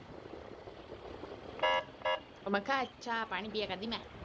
ਮੈਂ ਕਿਹਾ ਅੱਛਾ ਪਾਣੀ ਪੀਆ ਕਰਦੀ ਮੈਂ